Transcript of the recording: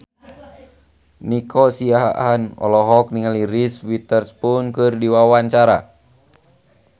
Nico Siahaan olohok ningali Reese Witherspoon keur diwawancara